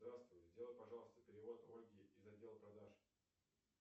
здравствуй сделай пожалуйста перевод ольге из отдела продаж